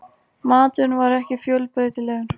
Maturinn var ekki fjölbreytilegur.